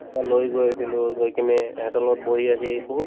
কিবা লৈ গৈছিলো, গৈ কিনে হেহঁতৰ লগত বহি সেই বহুত